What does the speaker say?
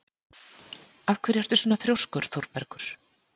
Af hverju ertu svona þrjóskur, Þorbergur?